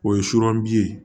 O ye sura bi ye